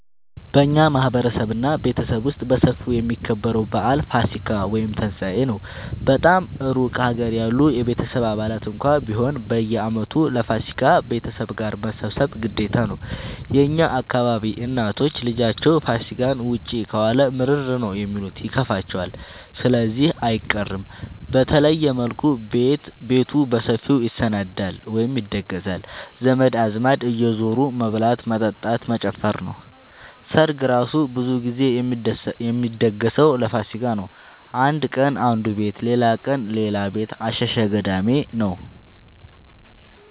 በእኛ ማህበረሰብ እና ቤተሰብ ውስጥ በሰፊው የሚከበረው በአል ፋሲካ(ትንሳኤ) ነው። በጣም እሩቅ ሀገር ያሉ የቤተሰብ አባላት እንኳን ቢሆኑ በየአመቱ ለፋሲካ ቤተሰብ ጋር መሰብሰብ ግዴታ ነው። የእኛ አካባቢ እናቶች ልጃቸው ፋሲካን ውጪ ከዋለ ምርር ነው የሚሉት ይከፋቸዋል ስለዚህ አይቀርም። በተለየ መልኩ ቤቱ በሰፊው ይሰናዳል(ይደገሳል) ዘመድ አዝማድ እየዙሩ መብላት መጠጣት መጨፈር ነው። ሰርግ እራሱ ብዙ ግዜ የሚደገሰው ለፋሲካ ነው። አንድ ቀን አነዱ ቤት ሌላቀን ሌላ ቤት አሸሸ ገዳሜ ነው።